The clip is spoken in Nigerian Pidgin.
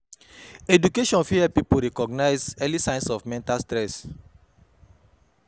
Education fit help pipo recognize early signs of mental stress